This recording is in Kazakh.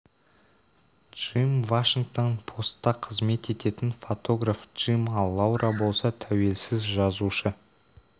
джим вашингтон посттақызмет ететін фотограф-джим ал лаура болса тәуелсіз жазушы